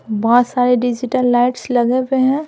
बहुत सारे digital lights लगे हुए हैं।